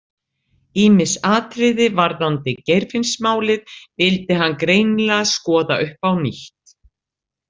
Ýmis atriði varðandi Geirfinnsmálið vildi hann greinilega skoða upp á nýtt.